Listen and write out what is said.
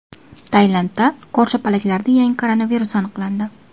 Tailandda ko‘rshapalaklarda yangi koronavirus aniqlandi.